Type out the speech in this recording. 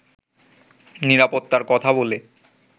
নিরাপত্তার কথা বলে